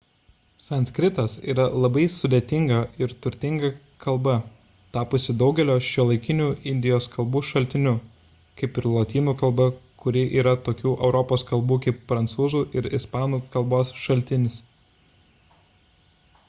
sanskritas yra labai sudėtinga ir turtinga kalba tapusi daugelio šiuolaikinių indijos kalbų šaltiniu kaip ir lotynų kalba kuri yra tokių europos kalbų kaip prancūzų ir ispanų k. šaltinis